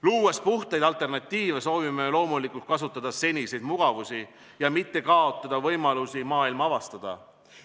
Luues puhtaid alternatiive, soovime loomulikult kasutada seniseid mugavusi ja mitte kaotada võimalusi maailma avastada.